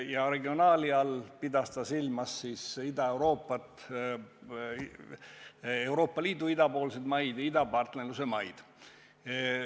Ja regionaali all pidas ta silmas Ida-Euroopat, Euroopa Liidu idapoolseid maid ja idapartnerluse maid.